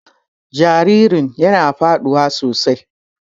Jaririn yana faduwa sosai.